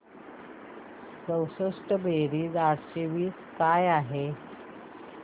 चौसष्ट बेरीज आठशे वीस काय आहे